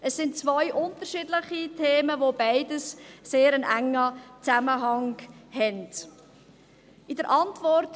Es sind zwei unterschiedliche Themen, die beide einen sehr engen Zusammenhang haben.